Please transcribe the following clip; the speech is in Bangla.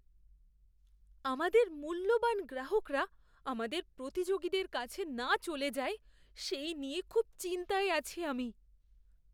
আমাদের মূল্যবান গ্রাহকরা আমাদের প্রতিযোগীদের কাছে না চলে যায় সেই নিয়ে খুব চিন্তায় আছি আমি।